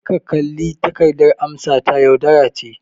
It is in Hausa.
Kar ka kalli takardar amsata - yaudara ce.